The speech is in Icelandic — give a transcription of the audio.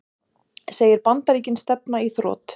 Segir Bandaríkin stefna í þrot